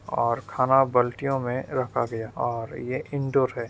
और खाना बाल्टीओ में रखा गया और ये इनडोर है।